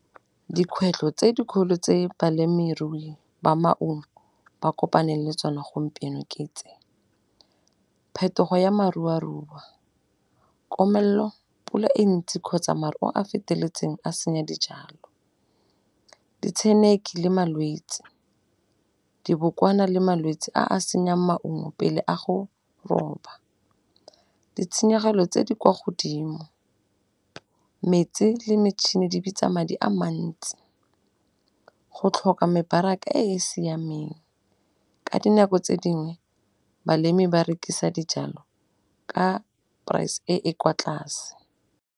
Dikgwetlho tse dikgolo tse balemirui ba maungo ba kopaneng le tsona gompieno ke tse, phetogo ya marua-rua, komello, pula e ntsi kgotsa maru a a feteletseng a senya dijalo. Ditsheneki le malwetse, dibokwana le malwetsi a a senyang maungo pele a go roba. Ditshenyegelo tse di kwa godimo, metsi le metšhene di bitsa madi a mantsi go tlhoka mebaraka e e siameng. Ka dinako tse dingwe balemi ba rekisa dijalo ka price e e kwa tlase.